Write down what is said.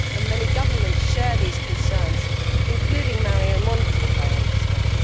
Many governments share these concerns, including Mario Monti's I understand.